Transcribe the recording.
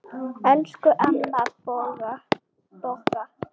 Elsku amma Bogga.